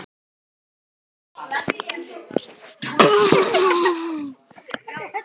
Hann gerði mjög góða grein fyrir dómi sínum.